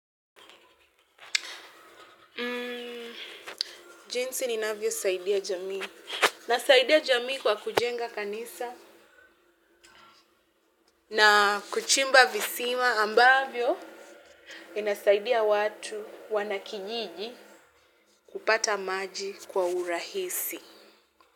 Jinsi ninavyo saidia jamii nasaidia jamii kwa kujenga kanisa na kuchimba visima ambavyo inasaidia watu wanakijiji kupata maji kwa urahisi.